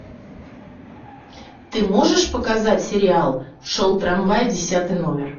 ты можешь показать сериал шел трамвай десятый номер